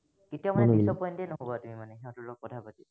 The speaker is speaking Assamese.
কেতিয়াও মানে dis-appoint য়েই নহবা তুমি মানে সিহঁতৰ লগত কথা পাতি।